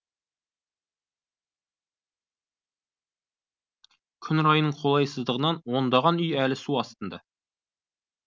күн райының қолайсыздығынан ондаған үй әлі су астында